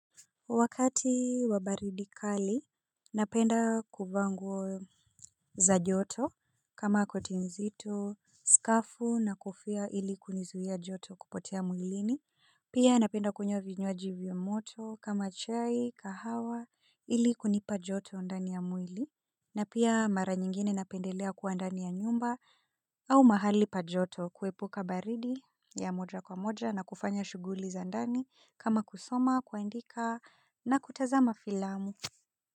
Wakati wa baridi kali, napenda kuvaa nguo za joto kama koti nzito, skafu na kofia ili kuzuia joto kupotea mwilini. Pia napenda kunywa vinywaji vya moto kama chai na kahawa ili kunipa joto ndani ya mwili. Na pia mara nyingine napendelea kuwa ndani ya nyumba. Au mahali pa joto kuepuka baridi ya moja kwa moja na kufanya shughuli za ndani kama kusoma, kuandika na kutazama filamu.